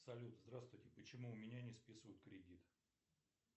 салют здравствуйте почему у меня не списывают кредит